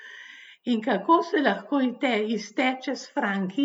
In kako se lahko izteče s franki?